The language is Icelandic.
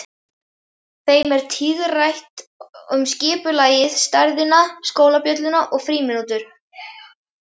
Þeim er tíðrætt um skipulagið, stærðina, skólabjölluna og frímínútur.